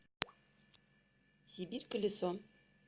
сибирь колесо